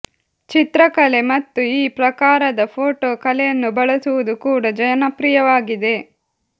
ಚಿತ್ರಕಲೆ ಮತ್ತು ಈ ಪ್ರಕಾರದ ಫೋಟೋ ಕಲೆಯನ್ನು ಬಳಸುವುದು ಕೂಡ ಜನಪ್ರಿಯವಾಗಿದೆ